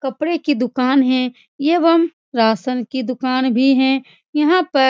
कपड़े की दूकान है एवम रासन की दूकान भी है। यहाँ पर --